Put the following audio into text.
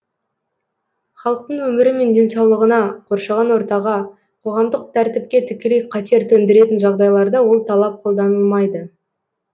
халықтың өмірі мен денсаулығына қоршаған ортаға қоғамдық тәртіпке тікелей қатер төндіретін жағдайларда ол талап қолданылмайды